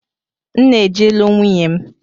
M na eje ilu nwunye m